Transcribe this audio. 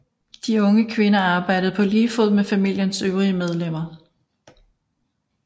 De unge kvinder arbejdede på lige fod med familiens øvrige medlemmer